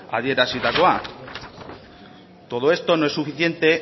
adierazitakoa todo esto no es suficiente